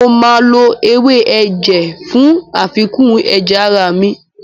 Mo máa lo ewé ẹ̀jẹ̀ fún àfikún ẹ̀jẹ̀ ara mi.